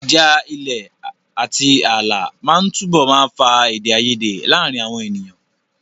Ìjà ilẹ̀ àti ààlà máa túbọ̀ máa fa èdè àìyedè láàárín àwọn ènìyàn.